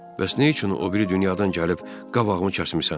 Bəs nə üçün o biri dünyadan gəlib qabağımı kəsmisən?